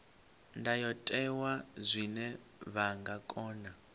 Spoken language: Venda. ndayotewa zwine vha nga kona